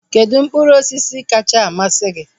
Kedụ mkpụrụ osisi kacha amasị gị?